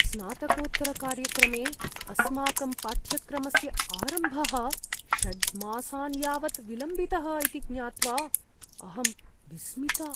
स्नातकोत्तरकार्यक्रमे अस्माकं पाठ्यक्रमस्य आरम्भः षड् मासान् यावत् विलम्बितः इति ज्ञात्वा अहं विस्मिता।